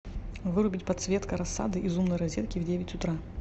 вырубить подсветка рассады из умной розетки в девять утра